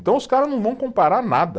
Então os cara não vão comparar nada.